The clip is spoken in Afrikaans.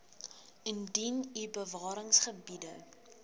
indien u bewaringsgebiede